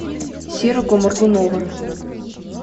серого моргунова